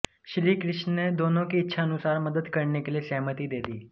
श्रीकृष्ण ने दोनों की इच्छा अनुसार मदद करने के लिए सहमति दे दी